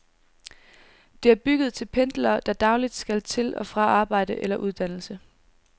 Det er bygget til pendlere, der dagligt skal til og fra arbejde eller uddannelse.